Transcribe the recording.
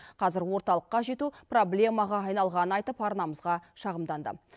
қазір орталыққа жету проблемаға айналғанын айтып арнамызға шағымданды